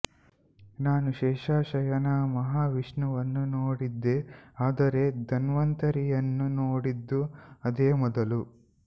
ನಾನು ಶೇಷಶಯನ ಮಹಾವಿಷ್ಣುವನ್ನು ನೋಡಿದ್ದೆ ಆದರೆ ಧನ್ವಂತರಿಯನ್ನು ನೋಡಿದ್ದು ಅದೇ ಮೊದಲು